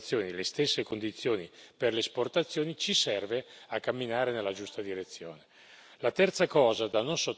Allora, assicurare per le importazioni le stesse condizioni che per le esportazioni ci serve a camminare nella giusta direzione.